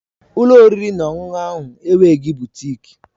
Ụlọ oriri na ọṅụṅụ ahụ enweghị butịk